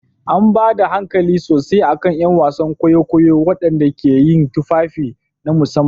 An ba da hankali sosai a kan 'yan wasan kwaikwayo waɗanda ke yin tufafi na musamman.